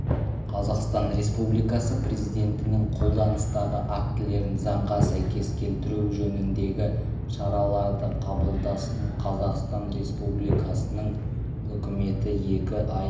қазақстан республикасы президентінің қолданыстағы актілерін заңға сәйкес келтіру жөніндегі шараларды қабылдасын қазақстан республикасының үкіметі екі ай